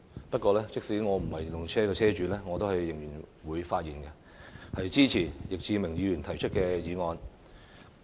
不過，即使我不是電動車車主，我仍然會發言，支持易志明議員提出的議案。